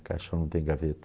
Caixão não tem gaveta.